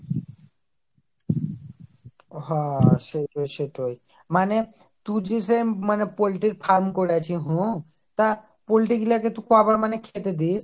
হহহ সেটাই সেটাই মানে তুই যে শেম মানে poultry র করেছি, হম তা poultry গুলাকে তু ক বার মানেখেতে দিস ?